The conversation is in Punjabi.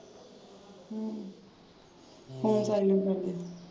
ਹਮ ਹੁਣ ਚੱਲਦੇ ਫਿਰਦੇ।